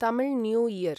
Tamil new year